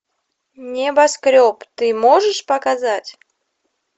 небоскреб ты можешь показать